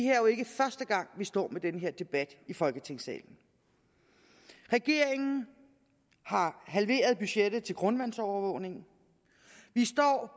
er jo ikke første gang vi står med den her debat i folketingssalen regeringen har halveret budgettet til grundvandsovervågning vi står